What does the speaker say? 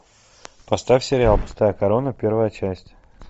поставь сериал пустая корона первая часть